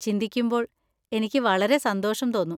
ചിന്തിക്കുമ്പോൾ എനിക്ക് വളരെ സന്തോഷം തോന്നും.